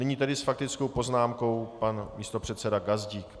Nyní tedy s faktickou poznámkou pan místopředseda Gazdík.